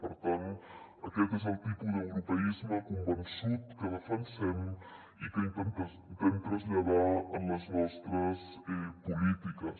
per tant aquest és el tipus d’europeisme convençut que defensem i que intentem traslladar en les nostres polítiques